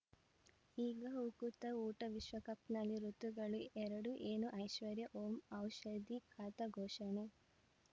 ಈಗ ಉಕುತ ಊಟ ವಿಶ್ವಕಪ್‌ನಲ್ಲಿ ಋತುಗಳು ಎರಡು ಏನು ಐಶ್ವರ್ಯಾ ಓಂ ಔಷಧಿ ಖಾತ ಘೋಷಣೆ